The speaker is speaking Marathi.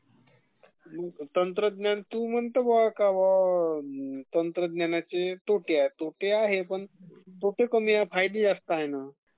तंत्रज्ञानाचे.....तू म्हणते का बा तंत्रज्ञानाचे तोटे आहेत...तोटे आहेत पण..तोटे कमी आहे .फायदे जास्त आहे ना